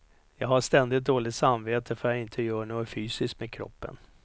Jag har ständigt dåligt samvete för att jag inte gör något fysiskt med kroppen.